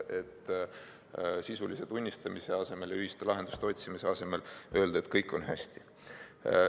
Sisulise tunnistamise asemel ja ühiste lahenduste otsimise asemel öeldi, et kõik on hästi.